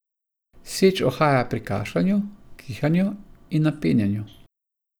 Seč uhaja pri kašljanju, kihanju in napenjanju.